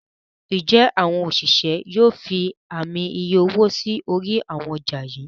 njé àwọn òṣìṣẹ́ yóò fí Ààmì iye owó sí orí àwọn ọjà yí?